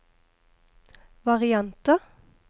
varianter